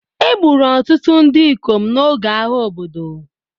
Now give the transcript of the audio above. Egburu ọtụtụ ndị ikom n'oge agha obodo